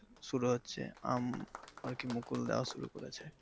শুরু হচ্ছে আম আরকি মুকুল দেইয়া শুরু করেছে।